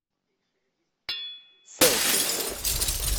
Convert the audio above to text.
селфи